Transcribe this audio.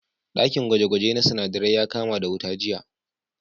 Ɗakin gwaje-gwaje na sinadarai ya kama da wuta jiya.